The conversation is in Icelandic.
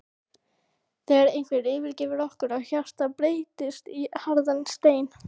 þegar einhver yfirgefur okkur og hjartað breytist í harðan stein.